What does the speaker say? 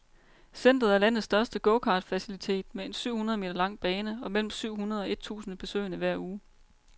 Centeret er landets største gokartfacilitet med en syv hundrede meter lang bane og mellem syv hundrede og et tusinde besøgende hver uge.